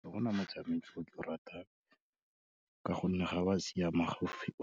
Ga gona matshameko o ke o ratang ka gonne ga oa siama,